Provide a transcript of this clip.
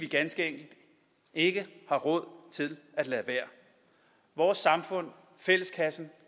ganske enkelt ikke har råd til at lade være vores samfund fælleskassen